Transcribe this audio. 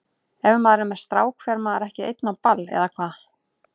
Ef maður er með strák fer maður ekki einn á ball, eða hvað?